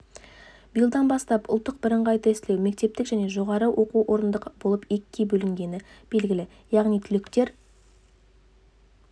биылдан бастап ұлттық бірыңғай тестілеу мектептік және жоғарғы оқу орындық болып екіге бөлінгені белгілі яғни түлектер